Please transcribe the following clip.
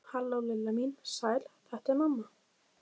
Halló, Lilla mín, sæl þetta er mamma.